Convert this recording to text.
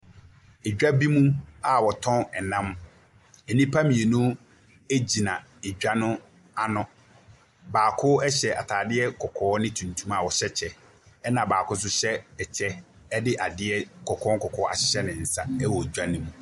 Edwa bi mu a ɔtɔn ɛnam. Enipa mmienu egyina edwa no ano. Baako hyɛ ataadeɛ kɔkɔɔ ne tuntum a ɔhyɛ kyɛ ɛna baako nso ɛhyɛ ɛkyɛ ɛde adeɛ nkɔkɔɔ kɔkɔɔ ahyɛ ne nsa ɛwɔ dwa nim.